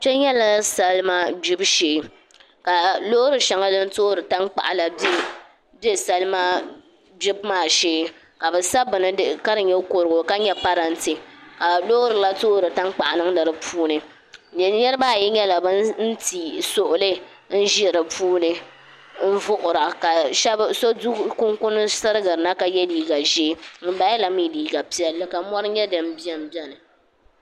Kpɛ nyɛla salima gbibu shee ka loori shɛli din toori tankpaɣu la bɛ salima gbibu maa shee ka bi sa buni ka di nyɛ kurugu ka nyɛ parantɛ ka loori ŋo toori tankpaɣu niŋdi di puuni niraba ayi nyɛla bin ti sugli n ʒi di puuni n vuɣura ka so du kunkun sirigirina ka yɛ liiga ʒiɛ ŋunbala la mii liiga piɛlli ka mori nyɛ din biɛni biɛni